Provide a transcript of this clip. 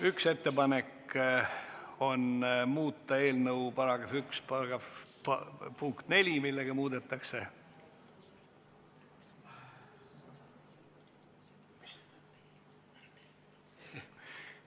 Üks ettepanek on muuta eelnõu § 1 punkt 4, millega muudetakse ...